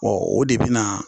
o de bɛna